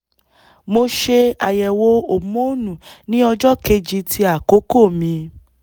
mo ṣe àyẹ̀wò homonu ní ọjọ́ kejì ti akoko mi